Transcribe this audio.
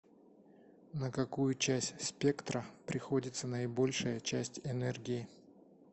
на какую часть спектра приходится наибольшая часть энергии